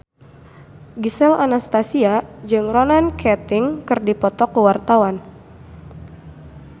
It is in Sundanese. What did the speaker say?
Gisel Anastasia jeung Ronan Keating keur dipoto ku wartawan